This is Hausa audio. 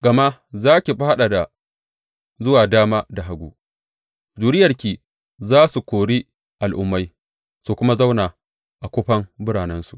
Gama za ki fadada zuwa dama da hagu; zuriyarki za su kori al’ummai su kuma zauna a kufan biranensu.